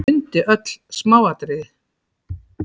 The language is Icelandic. Mundi öll smáatriði.